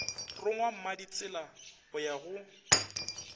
rongwa mmaditsela go ya go